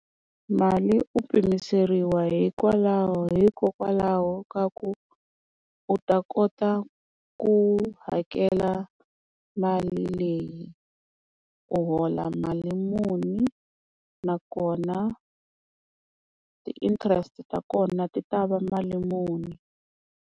Mali u pimiseriwa hikwalaho hikokwalaho ka ku u ta kota ku hakela mali leyi u hola mali muni nakona ti-interest ta kona ti ta va mali muni.